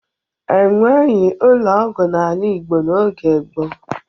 E nweghi ụlọ ọgwụ n'ala Igbo n'oge gboo.